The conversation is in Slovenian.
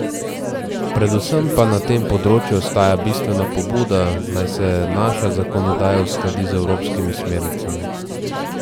Predvsem pa na tem področju ostaja bistvena pobuda, naj se naša zakonodaja uskladi z evropskimi smernicami.